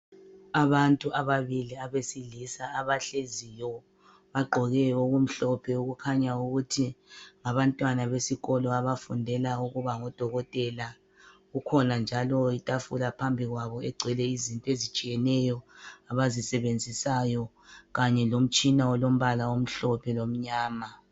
Abantu ababili abesilisa abahleziyo, bagqoke okumhlophe okukhanya ukuthi ngabantwana besikolo abafundela ukuba ngodokotela , kukhona njalo itafula phambi kwabo egcwele into ezitshiyeneyo abazisebenzisayo kanye lomtshina olombala omhlophe lomnyama.